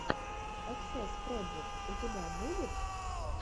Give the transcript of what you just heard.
эксэс проджект у тебя будет